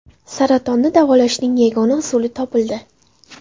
Saratonni davolashning yangi usuli topildi.